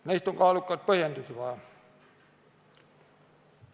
Nendeks on kaalukaid põhjendusi vaja.